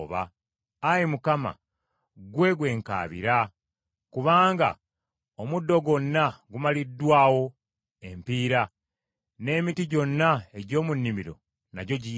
Ayi Mukama , Ggwe gwe nkaabirira, kubanga omuddo gwonna gumaliddwawo empiira, n’emiti gyonna egy’omu nnimiro nagyo giyidde.